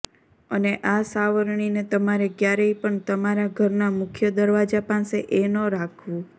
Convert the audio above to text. અને આ સાવરણીને તમારે ક્યારેય પણ તમારા ઘરના મુખ્ય દરવાજા પાસે એ ન રાખવુ